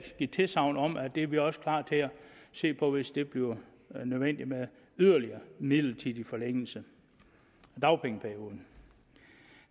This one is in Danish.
give tilsagn om at det er vi også klar til at se på hvis det bliver nødvendigt med en yderligere midlertidig forlængelse af dagpengeperioden